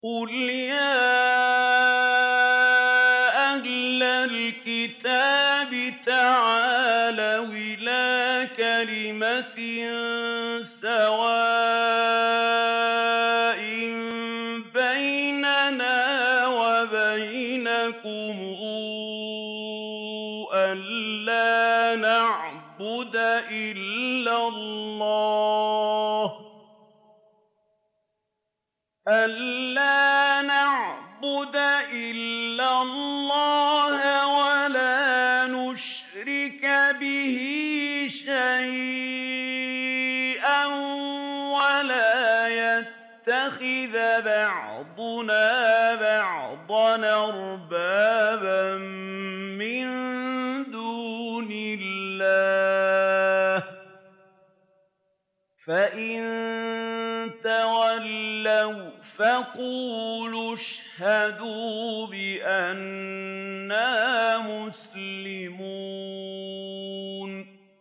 قُلْ يَا أَهْلَ الْكِتَابِ تَعَالَوْا إِلَىٰ كَلِمَةٍ سَوَاءٍ بَيْنَنَا وَبَيْنَكُمْ أَلَّا نَعْبُدَ إِلَّا اللَّهَ وَلَا نُشْرِكَ بِهِ شَيْئًا وَلَا يَتَّخِذَ بَعْضُنَا بَعْضًا أَرْبَابًا مِّن دُونِ اللَّهِ ۚ فَإِن تَوَلَّوْا فَقُولُوا اشْهَدُوا بِأَنَّا مُسْلِمُونَ